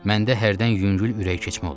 Məndə hərdən yüngül ürək keçmə olur.